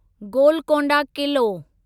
Golconda Qila